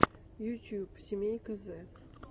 ютюб семейка зэ